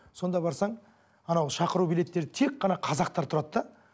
сонда барсаң анау шақыру билеттерде тек қана қазақтар тұрады да